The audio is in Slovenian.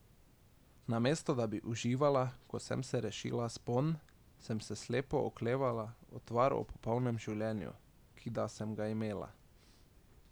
Namesto da bi uživala, ko sem se rešila spon, sem se slepo oklepala utvar o popolnem življenju, ki da sem ga imela.